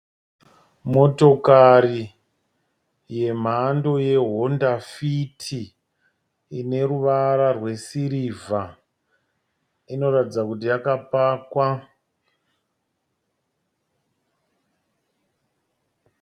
Motokari yemhando yehwonda fiti, ineruvara rwesirivha. Inoratidza kuti yakapakwa.